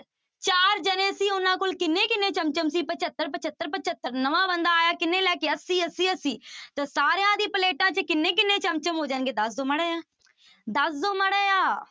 ਚਾਰ ਜਾਣੇ ਸੀ ਉਹਨਾਂ ਕੋਲ ਕਿੰਨੇ ਕਿੰਨੇ ਚਮ ਚਮ ਸੀ ਪਜੱਤਰ, ਪਜੱਤਰ, ਪਜੱਤਰ, ਨਵਾਂ ਬੰਦਾ ਆਇਆ ਕਿੰਨੇ ਲੈ ਕੇ ਅੱਸੀ, ਅੱਸੀ, ਅੱਸੀ ਤਾਂ ਸਾਰਿਆਂ ਦੀ ਪਲੇਟਾਂ ਚ ਕਿੰਨੇ ਕਿੰਨੇ ਚਮ ਚਮ ਹੋ ਜਾਣਗੇ ਦੱਸ ਦਓ ਮਾੜਾ ਜਿਹਾ, ਦੱਸ ਦਓ ਮਾੜਾ ਜਿਹਾ।